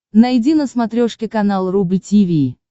найди на смотрешке канал рубль ти ви